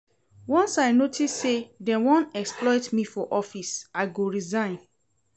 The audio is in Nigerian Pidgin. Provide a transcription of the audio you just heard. Once I notice sey dey wan exploit me for office, I go resign.